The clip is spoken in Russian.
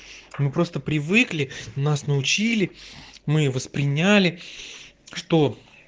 мы просто привыкли нас научили мы восприняли что